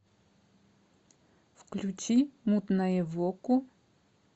включи мутнаевоку